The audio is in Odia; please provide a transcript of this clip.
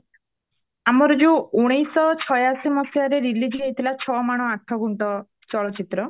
ଆମର ଯୋଉ ଉଣେଇଶହ ଛଇଆଅଶୀ ମସିହାରେ release ହେଇଥିଲା ଛ ମାଣ ଆଠ ଗୁଣ୍ଠ ଚଳଚିତ୍ର